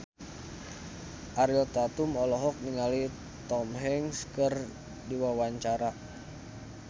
Ariel Tatum olohok ningali Tom Hanks keur diwawancara